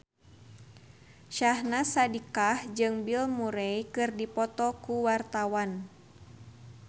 Syahnaz Sadiqah jeung Bill Murray keur dipoto ku wartawan